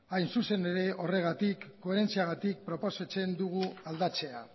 hain zuzen ere horregatik koherentziagatik proposatzen dugu aldatzea